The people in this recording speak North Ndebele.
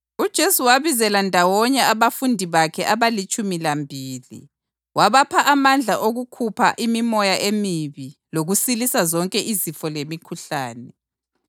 UJesu wabizela ndawonye abafundi bakhe abalitshumi lambili wabapha amandla okukhupha imimoya emibi lokusilisa zonke izifo lemikhuhlane.